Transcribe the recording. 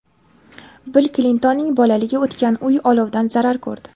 Bill Klintonning bolaligi o‘tgan uy olovdan zarar ko‘rdi.